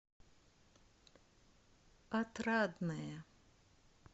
отрадное